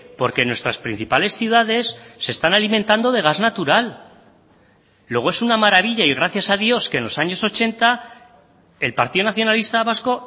porque nuestras principales ciudades se están alimentando de gas natural luego es una maravilla y gracias a dios que en los años ochenta el partido nacionalista vasco